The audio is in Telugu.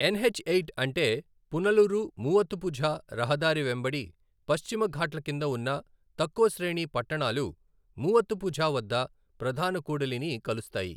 ఎస్హెచ్ ఎయిట్ అంటే పునలూరు, మూవత్తుపుఝా రహదారి వెంబడి పశ్చిమ ఘాట్ల కింద ఉన్న తక్కువ శ్రేణి పట్టణాలు మూవత్తుపుఝా వద్ద ప్రధాన కూడలిని కలుస్తాయి.